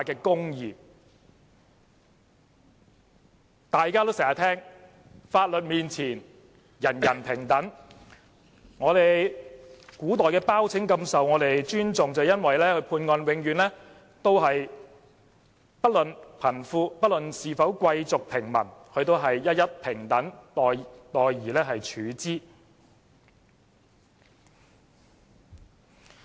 正如大家經常聽見的一句話，"法律面前，人人平等"，古代的包拯備受尊重，便是因為他在判案時不論貧富、貴族或平民，都一一平等待而處之。